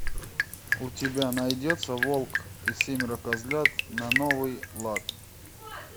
у тебя найдется волк и семеро козлят на новый лад